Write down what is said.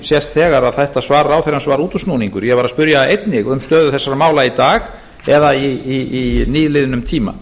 sést þegar að þetta svar ráðherrans var útúrsnúningur ég spurði einnig um stöðu þessara mála í dag eða í nýliðnum tíma